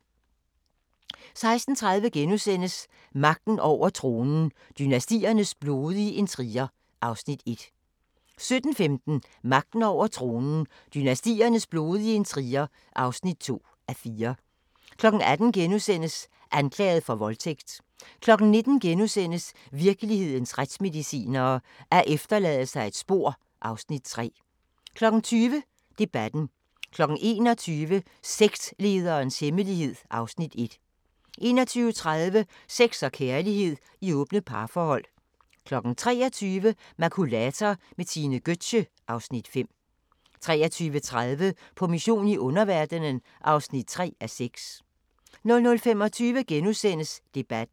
16:30: Magten over tronen – dynastiernes blodige intriger (1:4)* 17:15: Magten over tronen – dynastiernes blodige intriger (2:4) 18:00: Anklaget for voldtægt * 19:00: Virkelighedens retsmedicinere: Alt efterlader sig et spor (Afs. 3)* 20:00: Debatten 21:00: Sektlederens hemmelighed (Afs. 1) 21:30: Sex og kærlighed i åbne parforhold 23:00: Makulator med Tine Gøtzsche (Afs. 5) 23:30: På mission i underverdenen (3:6) 00:25: Debatten *